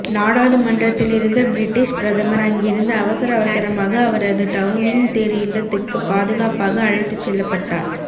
நாடாளுமன்றத்திலிருந்த British பிரதமர் அங்கிருந்து அவசர அவசரமாக அவரது டவுனிங்க் தெரு இல்லத்துக்கு பாதுகாப்பாக அழைத்துச் செல்லப்பட்டார்